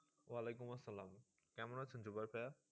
ওয়ালিকুম আসালাম। কেমন আছেন জুগল ভাইয়া?